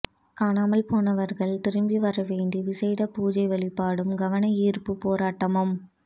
காணாமல் போனவர்கள் திரும்பி வர வேண்டி விசேட பூஜை வழிபாடும் கவனயீர்ப்பு போராட்டமும்